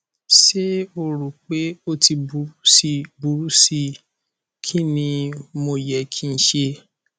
ṣe o ro pe o ti buru si buru si kini mo yẹ ki n ṣe